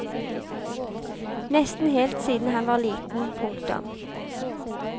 Nesten helt siden han var liten. punktum